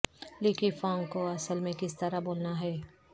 لی کیقانگ کو اصل میں کس طرح بولنا ہے